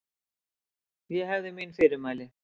Ég hefði mín fyrirmæli.